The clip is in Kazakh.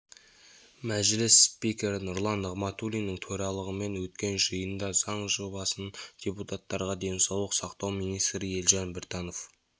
мәжіліс спикері нұрлан нығматулиннің төрағалымен өткен жиында жаңа заң жобасын депутаттарға денсаулық сақтау министрі елжан біртанов